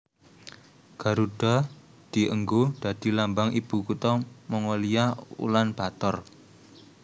Garudha dienggo dadi lambang ibu kutha Mongolia Ulan Bator